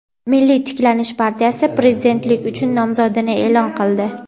"Milliy tiklanish" partiyasi Prezidentlik uchun nomzodini e’lon qildi.